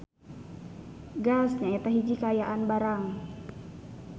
Gas nyaeta hiji kaayaan barang.